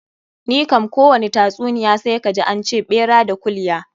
Ni kam kowani tatsuniya sai kaji an ce ɓera da kulya.